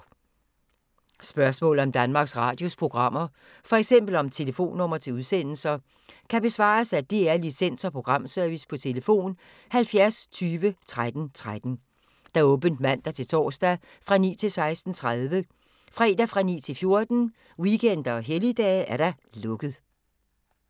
Spørgsmål om Danmarks Radios programmer, f.eks. om telefonnumre til udsendelser, kan besvares af DR Licens- og Programservice: tlf. 70 20 13 13, åbent mandag-torsdag 9.00-16.30, fredag 9.00-14.00, weekender og helligdage: lukket.